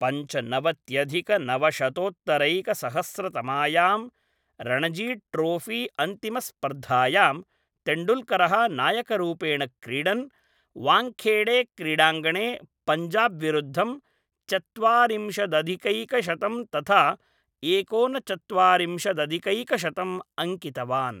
पञ्चनवत्यधिकनवशतोत्तरैकसहस्रतमायां रणजीट्रोफीअन्तिमस्पर्धायां, तेण्डुल्करः नायकरूपेण क्रीडन् वाङ्खेडेक्रीडाङ्गणे पञ्जाब्विरुद्धं चत्वारिंशदधिकैकशतं तथा एकोनचत्वारिंशदधिकैकशतम् अङ्कितवान्।